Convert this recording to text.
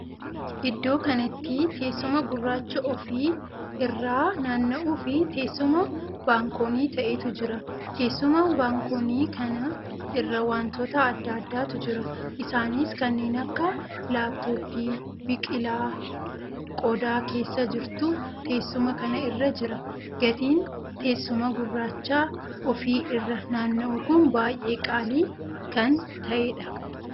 Iddoo kanatti teessuma gurraacha ofii irraa naanna'uu fi teessuma baankonii taheetu jira. teessuma baankonii kana irra wantoota addaa addaatu jira. isaanis kanneen akka laaptoppii, biqilaa qodaa keessaa jirtu teessuma kana irra jira. gatiin teessuma gurraacha ofii irra naanna'u kun baay'ee qaalii kan taheedha.